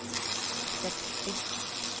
sextio